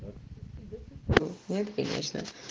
нет конечно